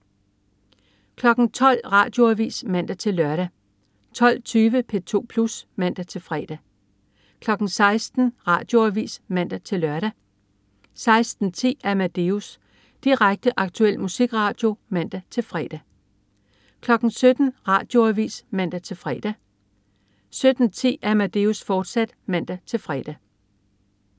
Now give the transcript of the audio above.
12.00 Radioavis (man-lør) 12.20 P2 Plus (man-fre) 16.00 Radioavis (man-lør) 16.10 Amadeus. Direkte, aktuel musikradio (man-fre) 17.00 Radioavis (man-fre) 17.10 Amadeus, fortsat (man-fre)